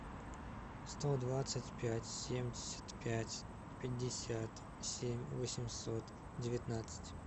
сто двадцать пять семьдесят пять пятьдесят семь восемьсот девятнадцать